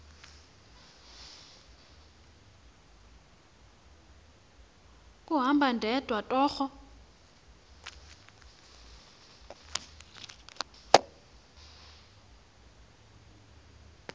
kuhamba ndedwa torho